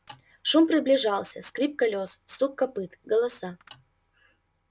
шум приближался скрип колёс стук копыт голоса